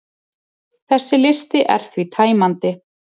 þessi listi er því tæmandi